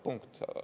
Punkt.